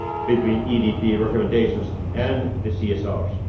between EDP recommendations and the CSRs.